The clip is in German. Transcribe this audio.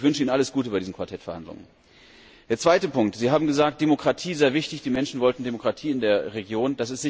Ich wünsche Ihnen also alles Gute bei diesen Quartett Verhandlungen! Der zweite Punkt Sie haben gesagt, Demokratie sei wichtig, die Menschen wollten Demokratie in der Region.